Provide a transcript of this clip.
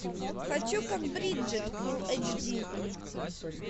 хочу как бриджет фулл эйч ди